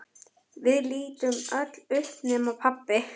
Við lítum öll upp nema pabbi.